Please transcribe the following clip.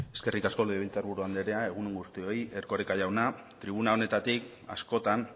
eskerrik asko legebiltzar buru andrea egun on guztioi erkoreka jauna tribuna honetatik askotan